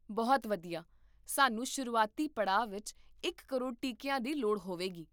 ਬਹੁਤ ਵਧੀਆ ਸਾਨੂੰ ਸ਼ੁਰੂਆਤੀ ਪੜਾਅ ਵਿੱਚ ਇਕ ਕਰੋੜ ਟੀਕੀਆਂ ਦੀ ਲੋੜ ਹੋਵੇਗੀ